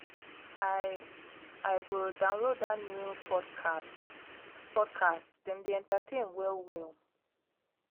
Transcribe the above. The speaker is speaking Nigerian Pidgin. i i go download dat new podcast podcast dem dey entertain well-well.